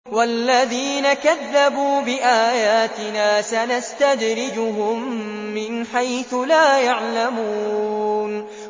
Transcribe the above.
وَالَّذِينَ كَذَّبُوا بِآيَاتِنَا سَنَسْتَدْرِجُهُم مِّنْ حَيْثُ لَا يَعْلَمُونَ